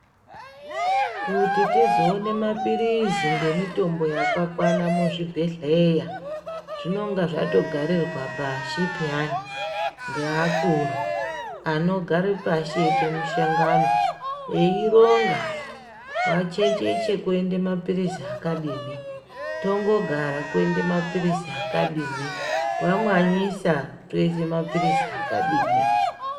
Kuti tizoone mapirizi ngemitombo yakakwana muzvibhedhleya zvinenge zvatogarirwe pashi peyani ngeakuru anogare pashi eiite mishangano eironga, kwaChecheche koende mapirizi akadini ,Tongogara koende mapirizi akadini kwaMwanyisa toise mapirizi akadini.